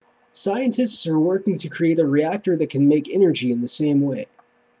scientists are working to create a reactor that can make energy in the same way